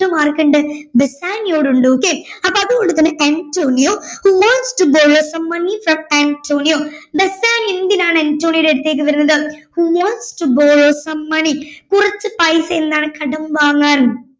ആർക്കുണ്ട് ബസാനിയോയോട് ഉണ്ട് okay അപ്പോ അതുകൊണ്ട് തന്നെ Antonio who wants to borrow some money from Antonio Bassanio എന്തിനാണ് അന്റോണിയോയുടെ അടുത്തേക്ക് വരുന്നത് who wants to borrow some money കുറച്ച് പൈസ എന്താണ് കടം വാങ്ങാൻ